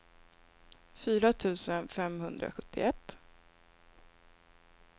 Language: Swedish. fyra tusen femhundrasjuttioett